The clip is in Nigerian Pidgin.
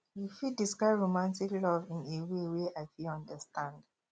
you fit describe romantic love in a way wey i fit understand